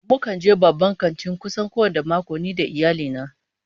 Mukan je babban kanti kusan kowane mako ni da iyali na